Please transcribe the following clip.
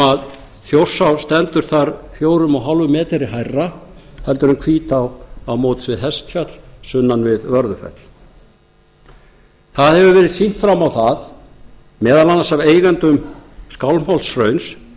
sem þjórsá stendur þar fjögur komma fimm metrum hærra en hvítá á móts við hestfjall sunnan við vörðufells það hefur verið sýnt fram á það meðal annars af eigendum skálmholtshrauns